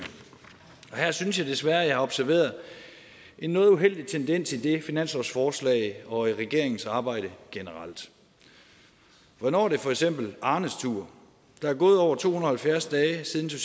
og her synes jeg desværre at jeg har observeret en noget uheldig tendens i det finanslovsforslag og i regeringens arbejde generelt hvornår er det for eksempel arnes tur der er gået over to hundrede og halvfjerds dage siden